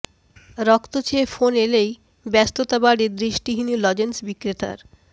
রক্ত চেয়ে ফোন এলেই ব্যস্ততা বাড়ে দৃষ্টিহীন লজেন্স বিক্রেতার